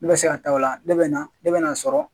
Ne bɛ se ka taa o la, ne bɛna ne bɛna sɔrɔ.